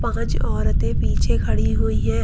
कुछ औरतें पीछे खड़ी हुई हैं।